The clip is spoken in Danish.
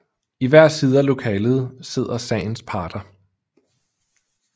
I hver side af lokalet sidder sagens parter